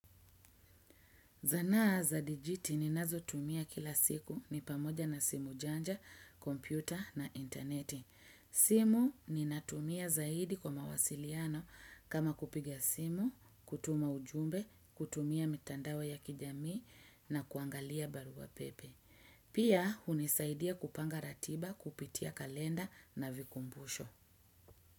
Zana za digit ni nazotumia kila siku ni pamoja na simu chanja, kompyuta na interneti. Simu ninatumia zaidi kwa mawasiliano kama kupiga simu, kutuma ujumbe, kutumia mitandao ya kijamii na kuangalia barua pepe. Pia hunisaidia kupanga ratiba, kupitia kalenda na vikumbusho.